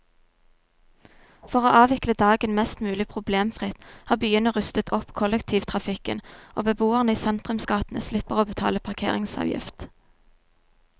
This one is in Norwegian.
For å avvikle dagen mest mulig problemfritt har byene rustet opp kollektivtrafikken, og beboerne i sentrumsgatene slipper å betale parkeringsavgift.